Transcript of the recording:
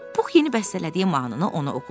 Pux yeni bəstələdiyi mahnını ona oxudu.